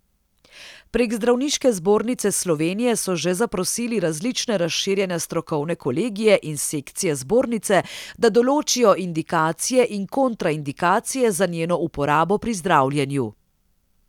Prek Zdravniške zbornice Slovenije so že zaprosili različne razširjene strokovne kolegije in sekcije zbornice, da določijo indikacije in kontraindikacije za njeno uporabo pri zdravljenju.